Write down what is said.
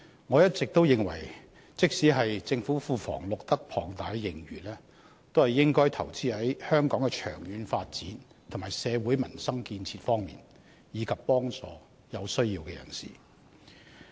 我一直認為，即使政府庫房錄得龐大盈餘，也應該投資在香港的長遠發展和社會民生建設方面，以及幫助有需要人士。